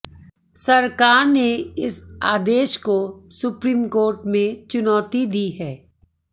सरकार ने इस आदेश को सुप्रीम कोर्ट में चुनौती दी है